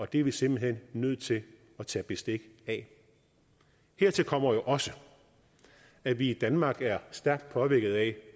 det er vi simpelt hen nødt til at tage bestik af hertil kommer jo også at vi i danmark er stærkt påvirket af